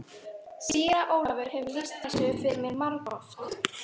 Síra Ólafur hefur lýst þessu fyrir mér margoft.